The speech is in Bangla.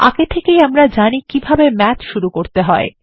এখন আমরা জানি কিভাবে ম্যাথ শুরু করতে হয়